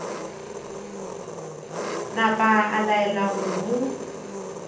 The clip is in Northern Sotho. napa a laela gore go